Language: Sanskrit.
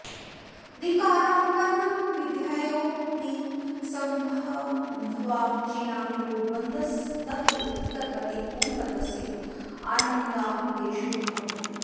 ऋकारान्तानां विद्यायोनिसम्भन्धवाचिनां यो द्वन्द्वस् तत्र उत्तरपदे पूर्वपदस्य आनङादेशो भवति